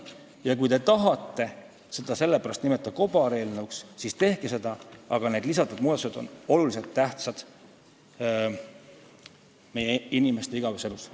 Ja kui te tahate seda sellepärast kobareelnõuks nimetada, siis tehke seda, aga lisatud muudatused on väga tähtsad meie inimeste igapäevaelus.